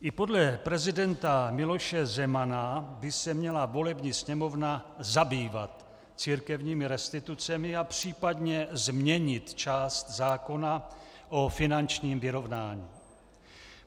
I podle prezidenta Miloše Zemana by se měla volební Sněmovna zabývat církevními restitucemi a případě změnit část zákona o finančním vyrovnání.